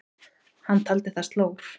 Hann taldi það slór.